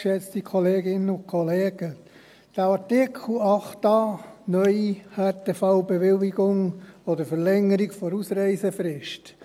der SiK. Der Artikel 8a (neu), Härtefallbewilligung oder Verlängerung der Ausreisefrist: